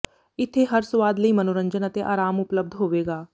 ਇੱਥੇ ਹਰ ਸਵਾਦ ਲਈ ਮਨੋਰੰਜਨ ਅਤੇ ਆਰਾਮ ਉਪਲਬਧ ਹੋਵੇਗਾ